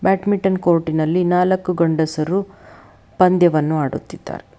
Badminton court ನಲ್ಲಿ ನಾಲ್ಕು ಗಂಡಸರು ಪಂದ್ಯವನ್ನು ಆಡುತ್ತಿದ್ದಾರೆ.